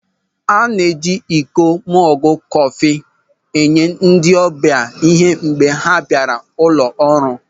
A ga-eji iko mọgụ kọfị enye ndị ọbịa ịhe mgbe ha bịara ụlọ ọrụ.